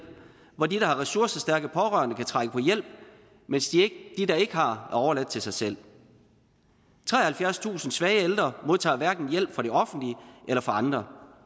hvor de der har ressourcestærke pårørende kan trække på hjælp mens de der ikke har er overladt til sig selv treoghalvfjerdstusind svage ældre modtager hverken hjælp fra det offentlige eller fra andre